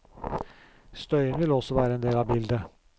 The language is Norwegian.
Støyen vil også være en del av bildet.